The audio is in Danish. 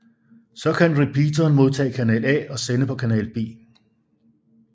Så kan repeateren modtage kanal A og sende på kanal B